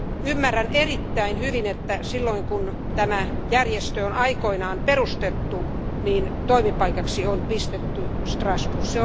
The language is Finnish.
Ymmärrän erittäin hyvin, että silloin kun tämä järjestö on aikoinaan perustettu, toimipaikaksi on pistetty Strasbourg.